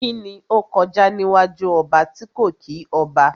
Kíni ó kọjá níwájú ọba tí kò kí ọba?